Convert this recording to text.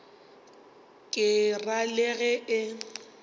ke ra le ge e